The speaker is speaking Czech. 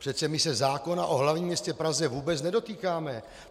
Přece my se zákona o hlavním městě Praze vůbec nedotýkáme.